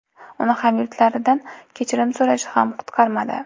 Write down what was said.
Uni hamyurtlaridan kechirim so‘rashi ham qutqarmadi.